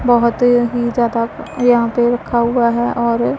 बहोत ही ज्यादा यहां पे रखा हुआ है और--